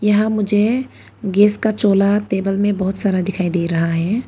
यहां मुझे गैस का चोल्हा टेबल में बहोत सारा दिखाई दे रहा है।